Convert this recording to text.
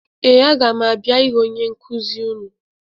Ee, aga m abịa ịhụ onye nkụzi unu